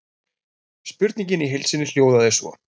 Spurningin í heild sinni hljóðaði svo: